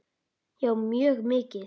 Já, mjög mikið.